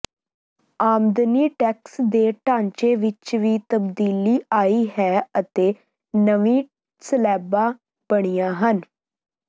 ਆਮਦਨੀ ਟੈਕਸ ਦੇ ਢਾਂਚੇ ਵਿੱਚ ਵੀ ਤਬਦੀਲੀ ਆਈ ਹੈ ਅਤੇ ਨਵੀਂ ਸਲੈਬਾਂ ਬਣੀਆਂ ਹਨ